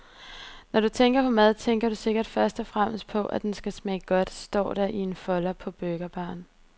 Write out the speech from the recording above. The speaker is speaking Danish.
Når du tænker på mad, tænker du sikkert først og fremmest på, at den skal smage godt, står der i en folder på burgerbaren.